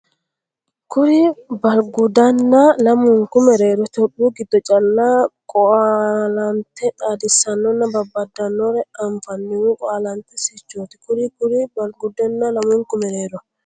Kuri Balgudanna lamunku mereero Itophiyu giddo calla Qo laante xaadisannonna babbadanore anfannihu qo laantete sirchooti Kuri Kuri Balgudanna lamunku mereero.